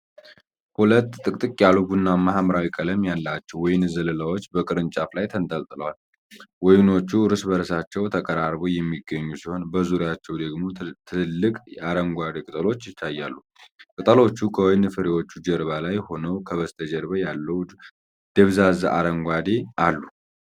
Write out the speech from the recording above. ሁለት ጥቅጥቅ ያሉ ቡናማ-ሐምራዊ ቀለም ያላቸው የወይን ዘለላዎች በቅርንጫፍ ላይ ተንጠልጥለዋል። ወይኖቹ እርስ በእርሳቸው ተቀራርበው የሚገኙ ሲሆን በዙሪያቸው ደግሞ ትልልቅ አረንጓዴ ቅጠሎች ይታያሉ። ቅጠሎቹ ከወይን ፍሬዎቹ ጀርባ ላይ ሆነው ከበስተጀርባ ያለውን ደብዛዛ አረንጓዴ አሉ።